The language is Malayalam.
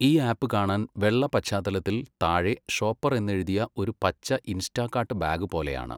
ഈ ആപ്പ് കാണാൻ വെള്ള പശ്ചാത്തലത്തിൽ താഴെ ഷോപ്പർ എന്നെഴുതിയ ഒരു പച്ച 'ഇൻസ്റ്റാകാർട്ട്' ബാഗ് പോലെയാണ്.